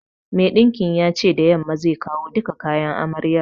Mai ɗinkin ya ce da yamma zai kawo duka kayan amaryar